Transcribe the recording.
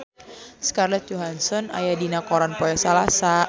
Scarlett Johansson aya dina koran poe Salasa